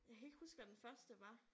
Jeg kan ikke huske hvad den første var